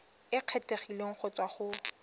e kgethegileng go tswa go